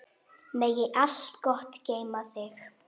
Megi allt gott geyma þig.